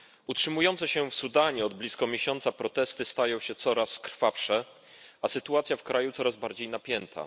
Utrzymujące się w Sudanie od blisko miesiąca protesty stają się coraz krwawsze, a sytuacja w kraju coraz bardziej napięta.